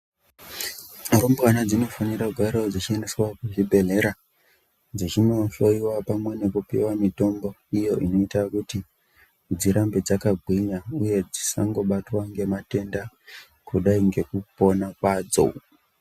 Rumbwana dzinofanira kugarawo dzichiendeswa kuzvibhedhlera dzichindohloyiwa pamwe nekupuwa mitombo iyo inoita kuti dzirambe dzakagwinya uye dzisangobatwa ngematenda kudai ngekupona kwadzo.